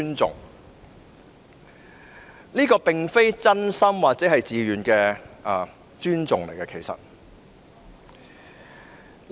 這其實並非出於真心或自願的尊重。